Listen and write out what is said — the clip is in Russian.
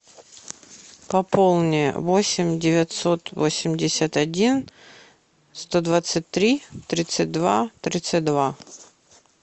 пополни восемь девятьсот восемьдесят один сто двадцать три тридцать два тридцать два